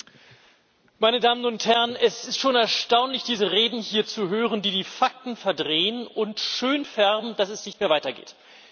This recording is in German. Frau Präsidentin! Meine Damen und Herren! Es ist schon erstaunlich diese Reden hier zu hören, die die Fakten verdrehen und schönfärben, dass es nicht mehr weitergeht.